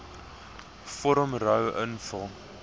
vorm ro invul